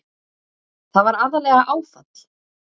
Þetta var aðallega áfall.